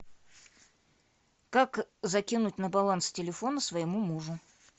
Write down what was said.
как закинуть на баланс телефона своему мужу